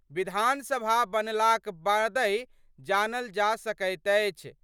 विधानसभा बनलाक बादहि जानल जा सकैत अछि।